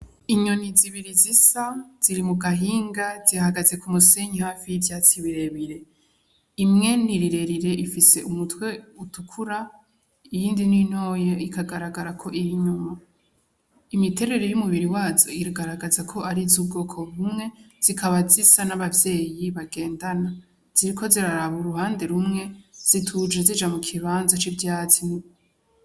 Inyoni zibiri zisa ziri mu gahinga zihagaze ku musenyi hafi y'ivyatsi birebire imwene irirerire ifise umutwe utukura iyindi n'intoya ikagaragara ko iri inyuma imiterere y'umubiri wazo ikagaragaza ko ari z’ubwoko bumwe zikaba zisa n'abavyeyi bagenda na ziriko ziraraba uruhande rumwe zituje zija mu kibanza c'ivyatsi